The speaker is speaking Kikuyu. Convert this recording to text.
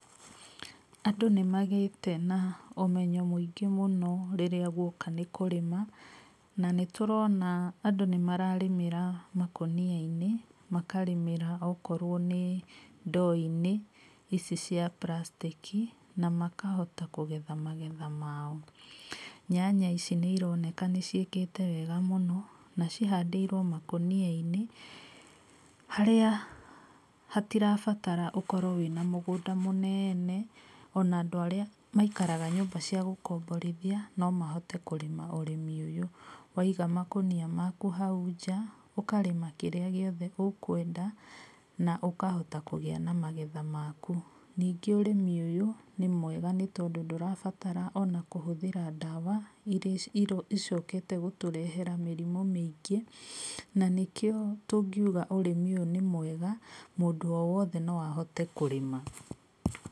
Andũ nĩmagĩte na ũmenyo mũingĩ mũno rĩrĩa guoka nĩ kũrĩma. Na nĩtũrona andũ nĩmararĩmĩra makũnia-inĩ, makarĩmĩra okorwo nĩ ndoo-inĩ ici cia plastic na makahota kũgetha magetha mao. Nyanya ici nĩironeka nĩciĩkĩte wega mũno, na cihandĩirwo makũnia-inĩ, harĩa hatirabatara ũkorwo wĩna mũgũnda mũneene, ona andũ arĩa maikaraga nyũmba cia gũkomborithia no mahote kũrĩma ũrĩmi ũyũ, waiga makũnia maku hau nja, ũkarĩma kĩrĩa gĩothe ũkwenda na ũkahota kũgĩa na magetha maku. Ningĩ ũrĩmi ũyũ nĩ mwega nĩtondũ ndũrabatara ona kũhũthĩra ndawa iria icokete gũtũrehera mĩrimũ mĩingĩ, na nĩkĩo tũngiuga ũrĩmi ũyũ nĩ mwega mũndũ o wothe no ahote kũrĩma.